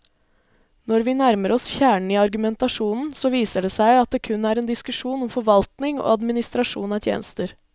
Når vi nærmer oss kjernen i argumentasjonen, så viser det seg at det kun er en diskusjon om forvaltning og administrasjon av tjenester.